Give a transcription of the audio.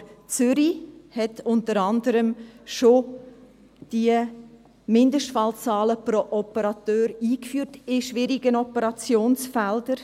Aber Zürich hat unter anderem die Mindestfallzahlen pro Operateur bei schwierigen Operationsfeldern schon eingeführt.